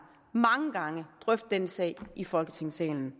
mange gange drøftet denne sag i folketingssalen